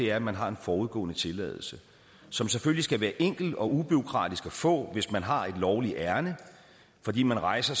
er at man har en forudgående tilladelse som selvfølgelig skal være enkel og ubureaukratisk at få hvis man har et lovligt ærinde fordi man rejser